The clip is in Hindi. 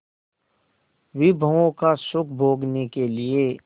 विभवों का सुख भोगने के लिए